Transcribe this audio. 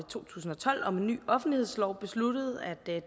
to tusind og tolv om en ny offentlighedslov besluttede at